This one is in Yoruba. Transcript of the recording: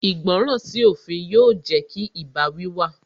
Ìgbọràn sí òfin yóò jẹ́ kí ìbáwí wà